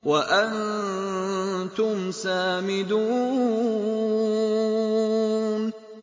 وَأَنتُمْ سَامِدُونَ